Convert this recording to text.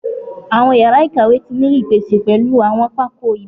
Awọn yara ikawe ti ni ipese pẹlu awọn pákó ibile